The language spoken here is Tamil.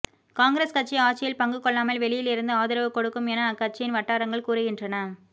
காங்கிரஸ் கட்சி ஆட்சியில் பங்கு கொள்ளாமல் வெளியில் இருந்து ஆதரவு கொடுக்கும் என அக்கட்சியின் வட்டாரங்கள் கூறுகின்றன